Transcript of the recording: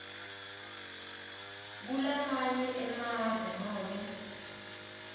kulamanye emave nobe